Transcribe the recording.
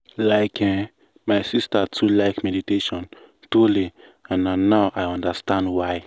like eh my sister too like meditation truely and na now i understand why.